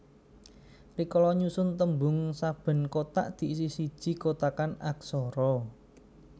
Rikala nyusun tembung saben kotak diisi siji kotakan aksara